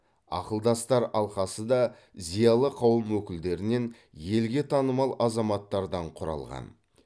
ақылдастар алқасы да зиялы қауым өкілдерінен елге танымал азаматтардан құралған